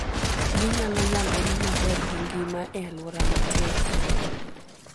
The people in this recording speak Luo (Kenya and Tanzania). Ginyalo nyagore maber gi ngima e alwora matek.